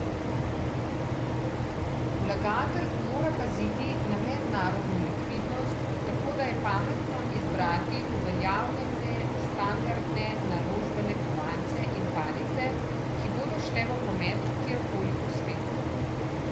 Vlagatelj mora paziti na mednarodno likvidnost, tako da je pametno izbrati uveljavljene standardne naložbene kovance in palice, ki bodo šle v promet kjer koli po svetu.